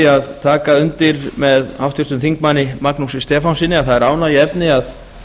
að taka undir með háttvirtum þingmanni magnúsi stefánssyni að það er ánægjuefni að